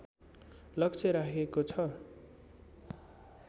लक्ष्य राखिएको छ